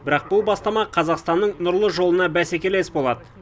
бірақ бұл бастама қазақстанның нұрлы жолына бәсекелес болады